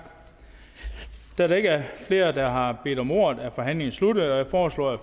da der ikke er flere der har bedt om ordet er forhandlingen sluttet jeg foreslår at